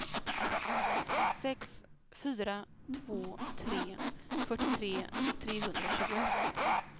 sex fyra två tre fyrtiotre trehundratjugoett